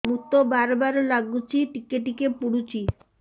ମୁତ ବାର୍ ବାର୍ ଲାଗୁଚି ଟିକେ ଟିକେ ପୁଡୁଚି